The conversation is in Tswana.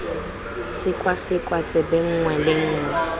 sekwasekwa tsebe nngwe le nngwe